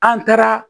An taara